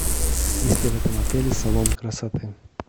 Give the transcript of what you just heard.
есть ли в этом отеле салоны красоты